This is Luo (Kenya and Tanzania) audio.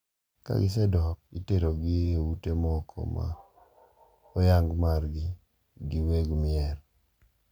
Kagisedok, iterogi e ute moko ma oyang margi gi weg mier.